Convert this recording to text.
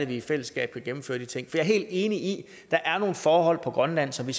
vi i fællesskab kan gennemføre de ting for jeg er helt enig i at der er nogle forhold på grønland som vi